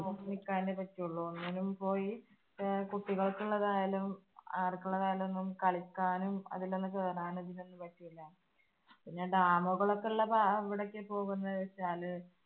നോക്കി നിക്കാനേ പറ്റുള്ളൂ. ഒന്നിലും പോയി കുട്ടികൾക്ക് ഉള്ളതായാലും ആർക്കുള്ളതായാലും ഒന്നും കളിക്കാനും അതിൽ ഒന്ന് കേറാനും ഒന്നും പറ്റില്ല. പിന്നെ dam കൾ ഒക്കെ ആഹ് അവിടേക്ക് പോകുന്നതെന്ന് വെച്ചാൽ